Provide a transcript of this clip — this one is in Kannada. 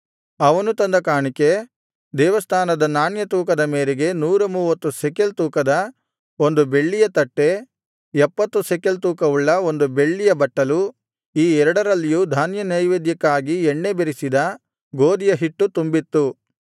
ಅವನು ತಂದ ಕಾಣಿಕೆ ದೇವಸ್ಥಾನದ ನಾಣ್ಯ ತೂಕದ ಮೇರೆಗೆ ನೂರ ಮೂವತ್ತು ಶೆಕೆಲ್ ತೂಕದ ಬೆಳ್ಳಿಯ ಒಂದು ತಟ್ಟೆ ಎಪ್ಪತ್ತು ಶೆಕೆಲ್ ತೂಕವುಳ್ಳ ಬೆಳ್ಳಿಯ ಒಂದು ಬಟ್ಟಲು ಈ ಎರಡರಲ್ಲಿಯೂ ಧಾನ್ಯನೈವೇದ್ಯಕ್ಕಾಗಿ ಎಣ್ಣೆ ಬೆರಸಿದ ಗೋದಿಯ ಹಿಟ್ಟು ತುಂಬಿತ್ತು